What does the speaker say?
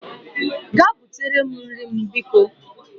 Gaa butere m nri m bikọ